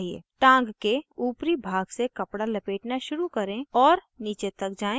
टाँग के upper भाग से कपडा लपेटना शुरू करें और नीचे तक जाएँ